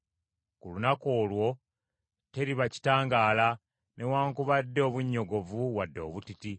Ku lunaku olwo teriba kitangaala, newaakubadde obunnyogovu wadde obutiti.